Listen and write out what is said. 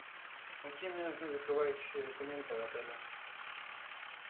какие мне нужны закрывающие документы в отеле